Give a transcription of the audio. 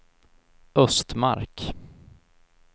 Östmark